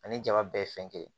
Ani jaba bɛɛ ye fɛn kɛ